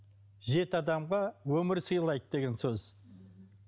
жеті адамға өмір сыйлайды деген сөз